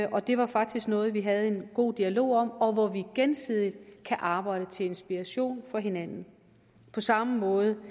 det var faktisk noget vi havde en god dialog om og hvor vi gensidigt kan arbejde til inspiration for hinanden på samme måde